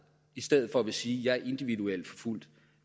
i stedet for vil sige at de er individuelt forfulgt